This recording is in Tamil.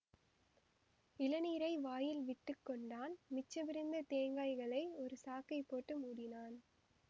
இளநீரை வாயில் விட்டு கொண்டான் மிச்சமிருந்த தேங்காய்களை ஒரு சாக்கைப் போட்டு மூடினான்